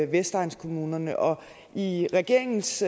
vestegnskommunerne og i regeringens